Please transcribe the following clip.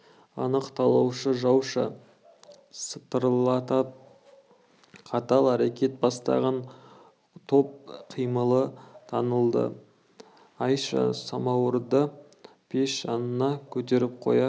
анық талаушы жауша сатырлатып қатал әрекет бастаған топ қимылы танылды айша самауырды пеш жанына көтеріп қоя